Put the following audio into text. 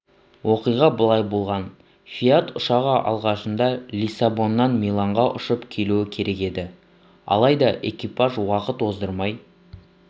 оқиға былай болған фиат ұшағы алғашында лиссабоннан миланға ұшып келуі керек еді алайда экипаж уақыт оздырмай